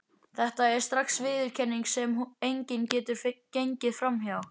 Þetta er strax viðurkenning, sem enginn getur gengið fram hjá.